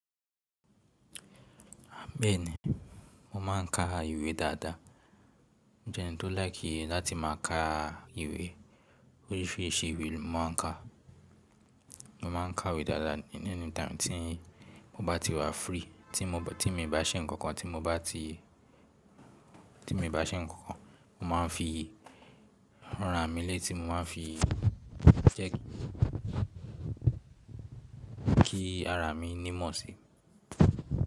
Bẹ́ẹ̀ni, mo máà ń ka ìwé dáadáa. Mo jẹ́ ẹni tó láì kí láti má a ka ìwé. Oríṣìíríṣìí ìwé ni mo máa ń ka. Mo máa ń ka ìwé dáadáa ní any time tí mo bá ti wà free, tí mo bá, tí èmi bá ṣe nǹkan kan, tí mo bá ti, tí èmi bá ṣe nǹkan kan, mo máa ń fi hàn rà mí lé tí mo máa ń fi jẹ́ kí ara mi ní mọ̀ sí.